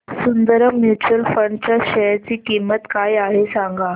Sundaram mutual fund च्या share ची किंमत काय आहे सांगा